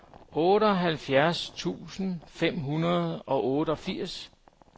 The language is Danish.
otteoghalvfjerds tusind fem hundrede og otteogfirs